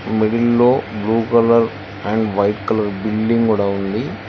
middle లో blue colour and white colour building కూడా ఉంది